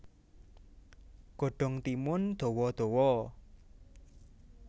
Godhong timun dawa dawa